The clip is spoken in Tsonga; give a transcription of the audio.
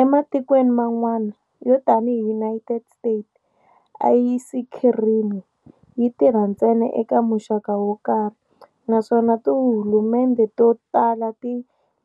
Ematikweni man'wana, yo tanihi United States, "ayisikhirimi" yi tirha ntsena eka muxaka wo karhi, naswona tihulumendhe to tala ti